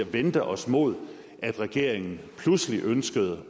vendte os mod at regeringen pludselig ønskede